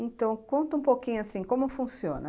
Então, conta um pouquinho assim, como funciona?